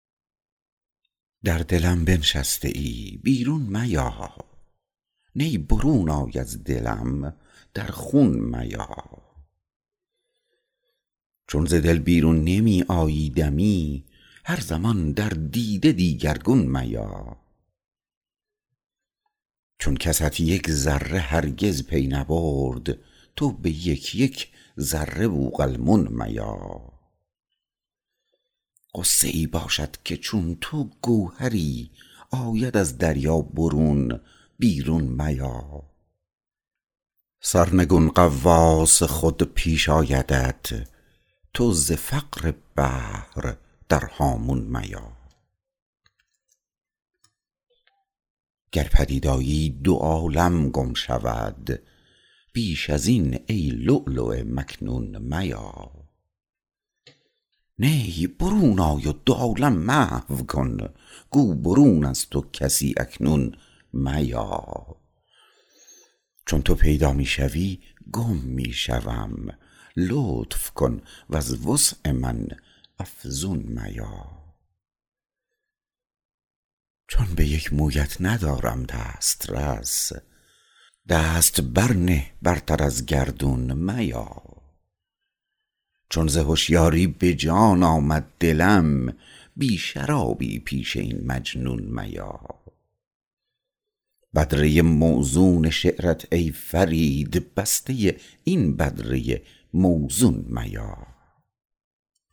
در دلم بنشسته ای بیرون میا نی برون آی از دلم در خون میا چون ز دل بیرون نمی آیی دمی هر زمان در دیده دیگرگون میا چون کست یک ذره هرگز پی نبرد تو به یک یک ذره بوقلمون میا غصه ای باشد که چون تو گوهری آید از دریا برون بیرون میا سرنگون غواص خود پیش آیدت تو ز فقر بحر در هامون میا گر پدید آیی دو عالم گم شود بیش از این ای لولو مکنون میا نی برون آی و دو عالم محو کن گو برون از تو کسی اکنون میا چون تو پیدا می شوی گم می شوم لطف کن وز وسع من افزون میا چون به یک مویت ندارم دست رس دست بر نه برتر از گردون میا چون ز هشیاری به جان آمد دلم بی شرابی پیش این مجنون میا بدره موزون شعرت ای فرید بسته این بدره موزون میا